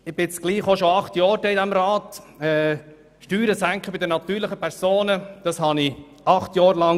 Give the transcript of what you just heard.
Während all dieser Jahre hat man über eine Senkung der Steuern für die natürlichen Personen gesprochen.